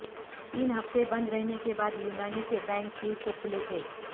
تین ہفتے بند رہنے کے بعد یونانی کے بینک پیر کو کھلے تھے